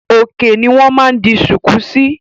Òkè ni wọn máa ń di sùkú síí.